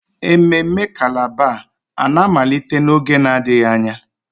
Ememme calabar a na-amalite n'oge adịghị anya?